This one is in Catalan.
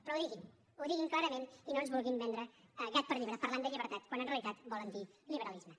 però ho diguin ho diguin clarament i no ens vulguin vendre gat per llebre parlant de llibertat quan en realitat volen dir liberalisme